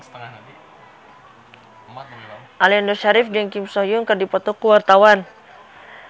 Aliando Syarif jeung Kim So Hyun keur dipoto ku wartawan